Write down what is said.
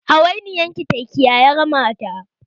Hawainiyar ki ta kiyayi rama ta!